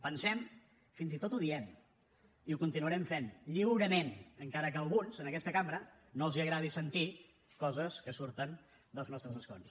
pensem fins i tot ho diem i ho continuarem fent lliurement encara que a alguns en aquesta cambra no els agradi sentir coses que surten dels nostres escons